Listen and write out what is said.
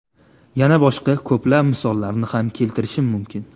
Yana boshqa ko‘plab misollarni ham keltirishim mumkin.